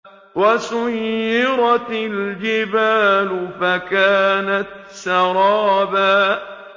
وَسُيِّرَتِ الْجِبَالُ فَكَانَتْ سَرَابًا